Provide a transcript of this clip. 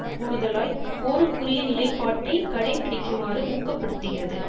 கூடுதலாய் போருக்குரிய நிலைப்பாட்டை கடைப்பிடிக்குமாறு ஊக்கப்படுத்துகிறது